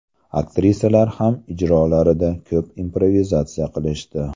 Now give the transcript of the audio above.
Aktrisalar ham ijrolarida ko‘p improvizatsiya qilishdi.